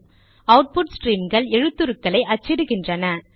output ஸ்ட்ரீம்கள் எழுத்துக்களை அச்சிடுகின்றன